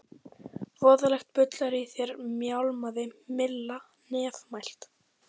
Voðalegt bull er í þér mjálmaði Milla nefmælt.